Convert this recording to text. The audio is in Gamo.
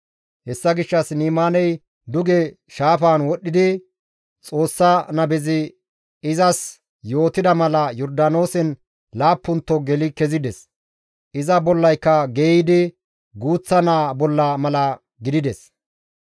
Hessa gishshas Ni7imaaney duge shaafan wodhdhidi Xoossa nabezi izas yootida mala Yordaanoosen laappunto geli kezides; iza bollayka geeyidi guuththa naa bolla mala gidides.